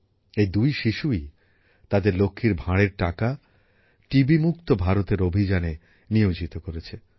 এই দুই শিশুই তাদের লক্ষীর ভাঁড়ের টাকা টিবিমুক্ত ভারতের অভিযানে নিয়োজিত করেছে